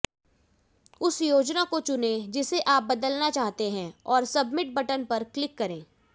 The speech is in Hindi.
उस योजना को चुनें जिसे आप बदलना चाहते हैं और सबमिट बटन पर क्लिक करें